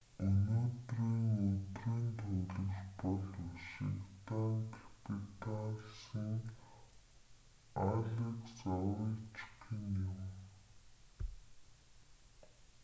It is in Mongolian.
өнөөдрийн өдрийн тоглогч бол вашингтон капиталсын алекс овечкин юм